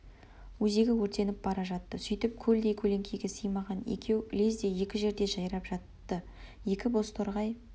өзегі өртеніп бара жатты сөйтіп көлдей көлеңкеге сыймаған екеу лезде екі жерде жайрап жатты екі бозторғай